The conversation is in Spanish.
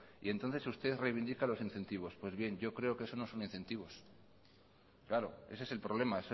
y entonces usted reivindica los incentivos pues bien yo creo que eso no son incentivos claro ese es el problema